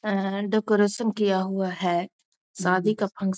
and decoration किया हुआ है शादी का फंक --